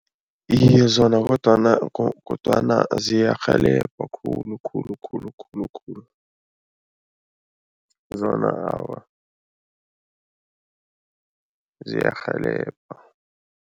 Iye, zona kodwana kodwana ziyarhelebha khulu khulu khulu khulu khulu. Zona awa, ziyarhelebha.